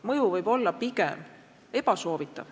Mõju võib olla pigem ebasoovitav.